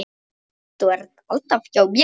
Þú ert alltaf hjá mér.